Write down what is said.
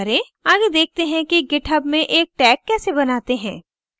आगे देखते हैं github में एक tag कैसे बनाते हैं